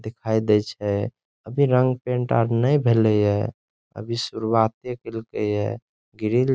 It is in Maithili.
दिखाई देइ छे अभी रंग पेंट आर नई भेलई हे अभी शुरुआते कैल कई हे ग्रिल --